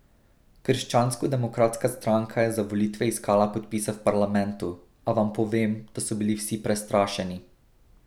Krščansko demokratska stranka je za volitve iskala podpise v parlamentu, a vam povem, da so bili vsi prestrašeni.